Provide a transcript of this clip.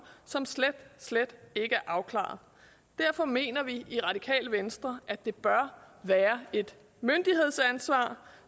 som slet slet ikke er afklaret derfor mener vi i radikale venstre at det bør være et myndighedsansvar